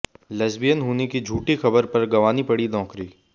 lesbian होने की झूठी ख़बर पर गंवानी पड़ी नौकरी